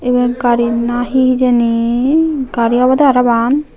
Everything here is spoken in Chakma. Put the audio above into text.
eyen gari na hi hijeni gari obowde para ang.